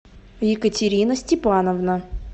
екатерина степановна